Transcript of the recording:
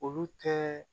Olu tɛ